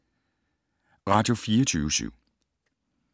Radio24syv